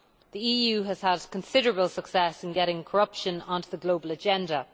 The EU has had considerable success in getting corruption on to the global agenda.